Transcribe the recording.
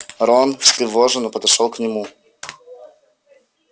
рон встревоженно подошёл к нему